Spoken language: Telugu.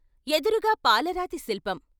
ఎదురుగా పాలరాతి శిల్పం.